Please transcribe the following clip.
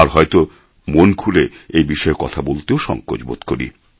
আর হয়ত মন খুলে এবিষয়ে কথা বলতেও সংকোচ বোধ করি